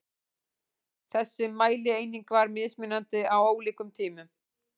Þessi mælieining var mismunandi á ólíkum tímum.